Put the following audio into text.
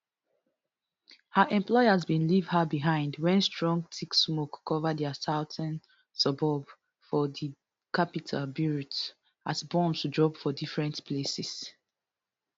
her employers bin leave her behind wen strong thick smoke cover dia southern suburb for di capital beirut as bombs drop for different places